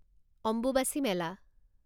Ambubachi Mela